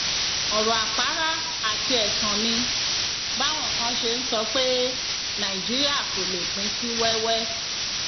ọrọ àpárá àti ẹtàn ni báwọn kan ṣe ń sọ pé nàìjíríà kò lè pín sí wẹwẹ